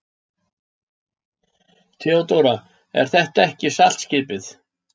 THEODÓRA: Er þetta ekki saltskipið?